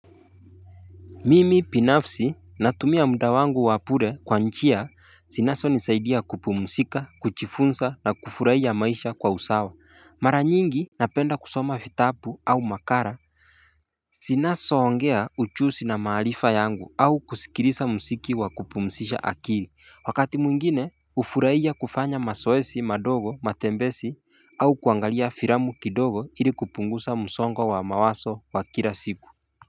Mimi binafsi natumia muda wangu wa bure kwa nchi zinaso nisaidia kupumzika kuchifunza na kufurahia maisha kwa usawa mara nyingi napenda kusoma vitabu au makala zinazoongea ujuzi na maarifa yangu au kusikiliza mziki wa kupumzisha akili wakati mwingine hufurahia kufanya mazoezi madogo matembezi au kuangalia filamu kidogo ili kupunguza msongo wa mawazo wa kila siku.